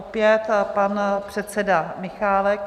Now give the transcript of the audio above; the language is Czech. Opět pan předseda Michálek.